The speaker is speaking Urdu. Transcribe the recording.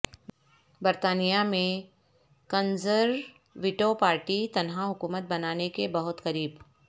برطانیہ میں کنزر ویٹو پارٹی تنہا حکومت بنانے کے بہت قریب